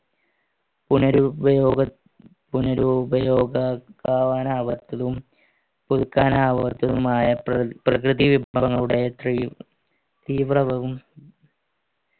ആപത്തിലും പുതുക്കാനാവാത്തതുമായ പ്ര പ്രകൃതി വിഭവങ്ങളുടെ തീവ്രവും